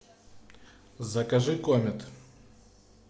закажи комет